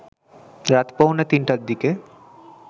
রাত পৌনে তিনটার দিকে